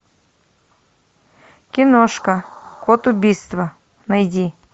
киношка код убийства найди